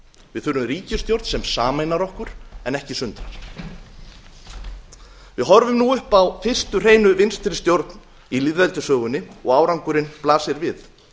við þurfum ríkisstjórn sem sameinar okkur en ekki sundrar við horfum nú upp á fyrstu hreinu vinstri stjórn í lýðveldissögunni og árangurinn blasir við